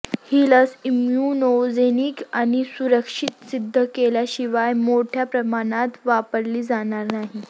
ही लस इम्यूनोजेनिक आणि सुरक्षित सिद्ध केल्याशिवाय मोठ्या प्रमाणात वापरली जाणार नाही